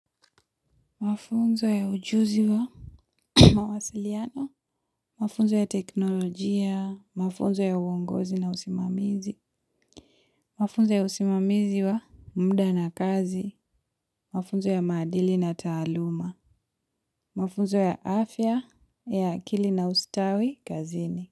Mafunzo ya ujuzi wa mawasiliano, mafunzo ya teknolojia, mafunzo ya uongozi na usimamizi, mafunzo ya usimamizi wa muda na kazi, mafunzo ya maadili na taaluma, mafunzo ya afya ya akili na ustawi kazini.